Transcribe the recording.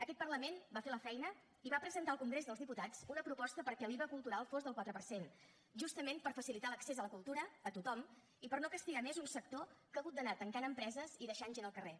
aquest parlament va fer la feina i va presentar al congrés dels diputats una proposta perquè l’iva cultural fos del quatre per cent justament per facilitar l’accés a la cultura a tothom i per no castigar més un sector que ha hagut d’anar tancant empreses i deixant gent al carrer